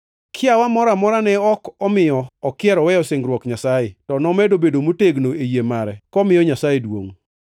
Kiawa moro amora ne ok omiyo okier oweyo singruok Nyasaye, to nomedo bedo motegno e yie mare komiyo Nyasaye duongʼ,